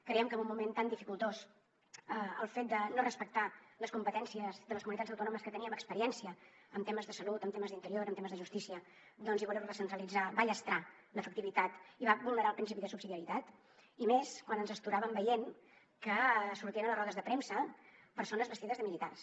creiem que en un moment tan dificultós el fet de no respectar les competències de les comunitats autònomes que teníem experiència en temes de salut en temes d’interior en temes de justícia i voler ho recentralitzar va llastrar l’efectivitat i va vulnerar el principi de subsidiarietat i més quan ens astoràvem veient que sortien a les rodes de premsa persones vestides de militars